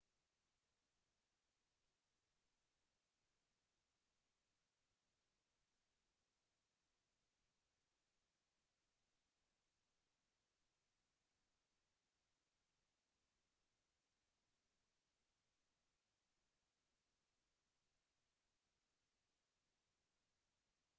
زیانی لێنزی زووم ئەوەیە کە ئاڵۆزی خاڵی جەخت و ژمارەی پێکهاتەکانی لێنزەکە کە پێویستن بۆ بەدەستهێنانی کۆمەڵێک لە درێژیی چەق زۆر زیاترە لە لێنزە سەرەکیەکە